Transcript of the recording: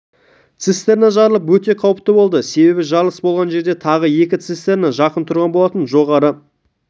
цистерна жарылып өте қауіпті болды себебі жарылыс болған жерде тағы екі цистерна жақын тұрған болатын жоғарғы